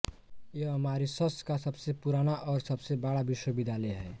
यह मारीसस का सबसे पुराना और सबसे बड़ा विश्वविद्यालय है